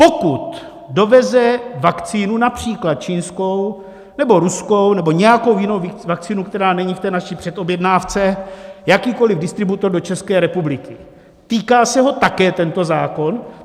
Pokud doveze vakcínu, například čínskou nebo ruskou nebo nějakou jinou vakcínu, která není v té naší předobjednávce, jakýkoliv distributor do České republiky, týká se ho také tento zákon?